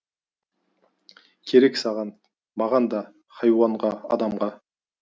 керек саған маған да хайуанға адамға